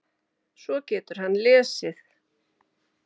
Svo getur hann lesið.